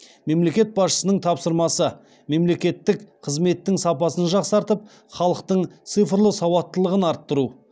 мемлекет басшысының тапсырмасы мемлекеттік қызметтің сапасын жақсартып халықтың цифрлы сауаттылығын арттыру